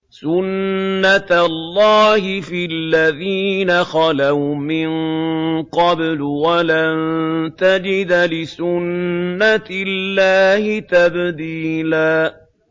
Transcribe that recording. سُنَّةَ اللَّهِ فِي الَّذِينَ خَلَوْا مِن قَبْلُ ۖ وَلَن تَجِدَ لِسُنَّةِ اللَّهِ تَبْدِيلًا